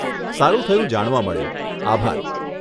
સારું થયું જાણવા મળ્યું, આભાર.